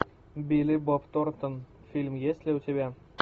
билли боб торнтон фильм есть ли у тебя